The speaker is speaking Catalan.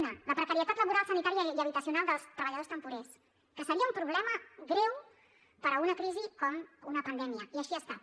una la precarietat laboral sanitària i habitacional dels treballadors temporers que seria un problema greu per a una crisi com una pandèmia i així ha estat